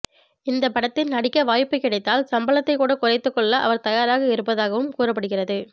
இந்த படத்தில் நடிக்க வாய்ப்பு கிடைத்தால் சம்பளத்தை கூட குறைத்து கொள்ள அவர் தயாராக இருப்பதாகவும் கூறப்படுகிறது